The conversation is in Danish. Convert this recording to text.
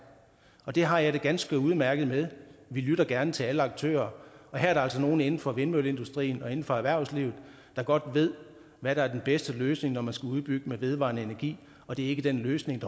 og det har jeg det ganske udmærket med vi lytter gerne til alle aktører og her er der altså nogle inden for vindmølleindustrien og inden for erhvervslivet der godt ved hvad der er den bedste løsning når man skal udbygge med vedvarende energi og det er ikke den løsning